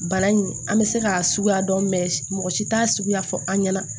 Bana in an bɛ se k'a suguya dɔn mɛ mɔgɔ si t'a suguya fɔ an ɲɛna